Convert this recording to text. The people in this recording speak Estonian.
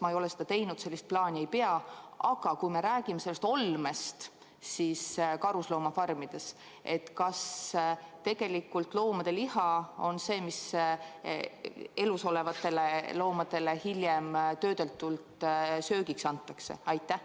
Ma ei ole seda teinud ja sellist plaani ei pea, aga kui me räägime oludest, siis kas karusloomafarmides tegelikult nende loomade liha on see, mis elus olevatele loomadele hiljem töödeldult söögiks antakse?